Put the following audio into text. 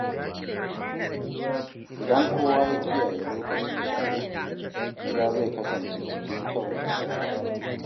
Idan kowa ya kiyaye lokacin shara, gida zai kasance cikin kyau da tsari.